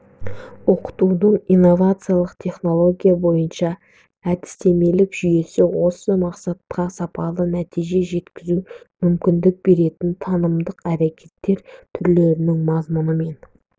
оқытудың инновациялық технология бойынша әдістемелік жүйесі осы мақсатқа сапалы нәтиже жеткізуге мүмкіндік беретін танымдық әрекеттер түрлерінің мазмұнымен